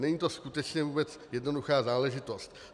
Není to skutečně vůbec jednoduchá záležitost.